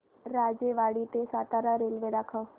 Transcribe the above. राजेवाडी ते सातारा रेल्वे दाखव